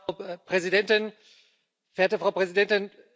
Frau Präsidentin, meine sehr verehrten Damen und Herren!